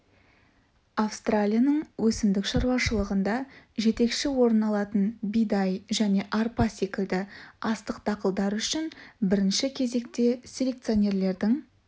австралияның өсімдік шаруашылығында жетекші орын алатын бидай және арпа секілді астық дақылдары үшін бірінші кезекте селекционерлердің